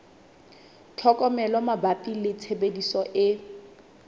tlhokomelo mabapi le tshebediso e